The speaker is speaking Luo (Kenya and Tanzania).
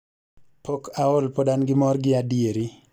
Pok aol pod an gi mor gi adieri